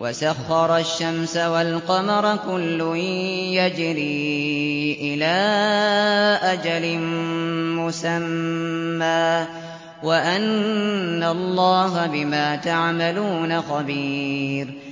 وَسَخَّرَ الشَّمْسَ وَالْقَمَرَ كُلٌّ يَجْرِي إِلَىٰ أَجَلٍ مُّسَمًّى وَأَنَّ اللَّهَ بِمَا تَعْمَلُونَ خَبِيرٌ